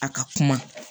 A ka kuma